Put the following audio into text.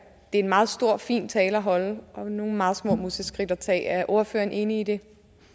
det er en meget stor og fin tale at holde og nogle meget små museskridt at tage er ordføreren enig i det